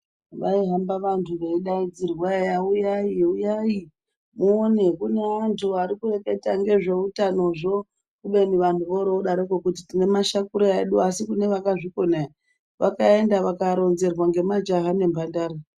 Vaihamba vanthu veidainzirwa eye uyai uyai muone kune anthu ari kureketa ngezveutanozvo kubeni vanthu voro vodaroko tine mashakura edu asi kune vakazvikona vakaenda vakaronzerwa ngemajaha nembandara.